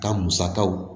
Ka musakaw